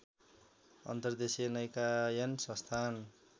अन्तर्देशीय नौकायन संस्थान